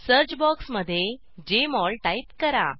search बॉक्समध्ये Jmol type करा